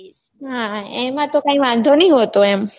હા હા એમાં તો કઈ વાંધો નઈ હોતો એમ